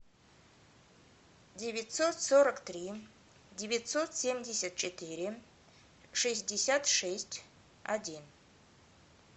девятьсот сорок три девятьсот семьдесят четыре шестьдесят шесть один